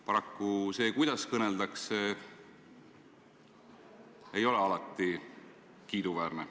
Paraku see, kuidas kõneldakse, ei ole alati kiiduväärne.